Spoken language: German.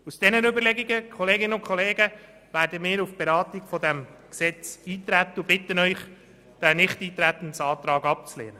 Aufgrund dieser Überlegungen werden wir auf die Beratung dieses Gesetzes eintreten und bitten Sie, den Nichteintretensantrag abzulehnen.